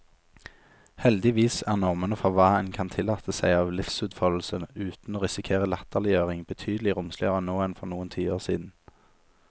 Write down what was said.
Heldigvis er normene for hva en kan tillate seg av livsutfoldelse uten å risikere latterliggjøring, betydelig romsligere nå enn for noen tiår siden.